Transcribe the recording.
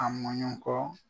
A mɔnɲɔn kɔ.